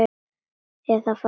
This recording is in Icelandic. Eða fara að hlæja.